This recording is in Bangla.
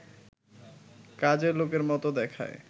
কাজের লোকের মতো দেখায়